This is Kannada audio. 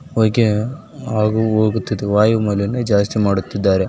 ವೈ ಕೆ ವೈ ವಯ್ಯು ಮಾಲಿನ್ಯ ಜಾಸ್ತಿ ಮಾಡುತ್ತಿದ್ದಾರೆ.